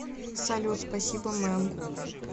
салют спасибо мэм